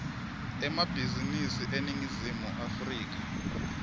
emabhizinisi eningizimu afrika